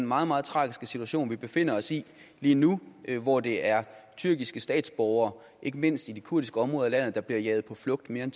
meget meget tragiske situation vi befinder os i lige nu hvor det er tyrkiske statsborgere ikke mindst i de kurdiske områder af landet der bliver jaget på flugt mere end